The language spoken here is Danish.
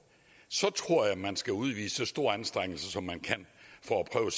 så tror jeg man skal udvise så store anstrengelser som man kan for at prøve